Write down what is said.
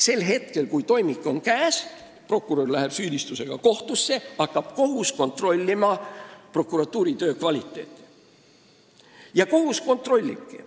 Sel hetkel, kui toimik on käes ja prokurör läheb süüdistusega kohtusse, hakkab kohus kontrollima prokuratuuri töö kvaliteeti.